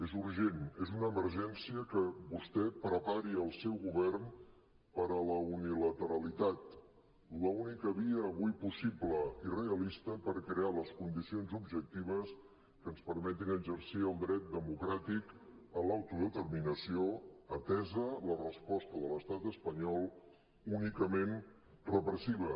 és urgent és una emergència que vostè prepari el seu govern per a la unilateralitat l’única via avui possible i realista per crear les condicions objectives que ens perme·tin exercir el dret democràtic a l’autodeterminació atesa la resposta de l’estat espa·nyol únicament repressiva